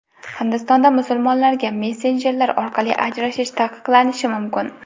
Hindistonda musulmonlarga messenjerlar orqali ajrashish taqiqlanishi mumkin.